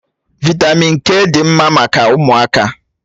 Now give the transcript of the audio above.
Vị́tamị́n k dị mma maka ụmụaka